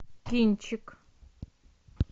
кинчик